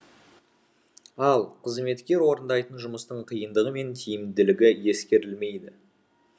ал қызметкер орындайтын жұмыстың қиындығы мен тиімділігі ескерілмейді